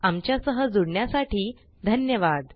आमच्या सह जुडण्यासाठी धन्यवाद